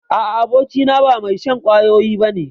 A'a, abokina ba mai shan kwayoyi ba ne.